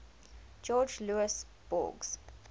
jorge luis borges